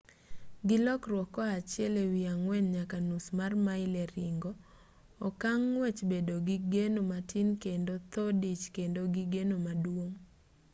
gi lokruok koa achiel ewi ang'wen nyaka nus mar mail e ringo okang ng'wech bedo gi geno matin kendo tho dich bedo gi geno maduong'